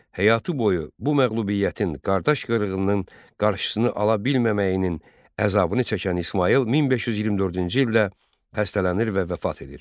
Həyatı boyu bu məğlubiyyətin, qardaş qırğınının qarşısını ala bilməməyinin əzabını çəkən İsmayıl 1524-cü ildə xəstələnir və vəfat edir.